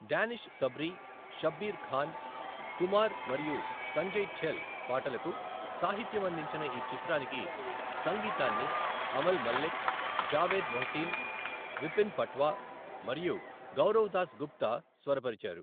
Danish Sabri, Shabbir Khan, Kumar మరియు సంజయ్ ఛెల్ పాటలకు సాహిత్యం అందించిన ఈ చిత్రానికి సంగీతాన్ని అమల్ మల్లిక్, జావేద్ మొహ్సిన్, విపిన్ పట్వా మరియు గౌరోవ్ దాస్గుప్తా స్వరపరిచారు.